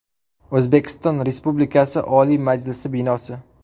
O‘zbekiston Respublikasi Oliy Majlisi binosi.